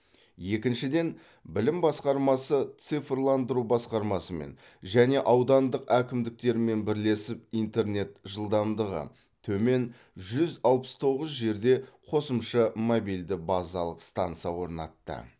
екіншіден білім басқармасы цифрландыру басқармасымен және аудандық әкімдіктермен бірлесіп интернет жылдамдығы төмен жүз алпыс тоғыз жерде қосымша мобильді базалық станса орнатты